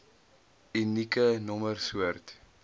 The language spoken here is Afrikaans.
unieke nommer soort